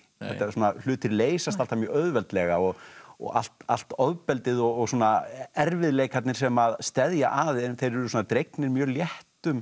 hlutir leysast alltaf mjög auðveldlega og og allt allt ofbeldið og svona erfiðleikarnir sem steðja að þeir eru dregnir mjög léttum